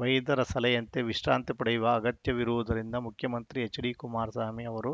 ವೈದ್ಯರ ಸಲಹೆಯಂತೆ ವಿಶ್ರಾಂತಿ ಪಡೆಯುವ ಅಗತ್ಯವಿರುವುದರಿಂದ ಮುಖ್ಯಮಂತ್ರಿ ಎಚ್‌ಡಿಕುಮಾರಸ್ವಾಮಿ ಅವರು